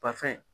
Ba fɛn